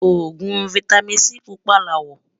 ògún fìtámín C púpà lawó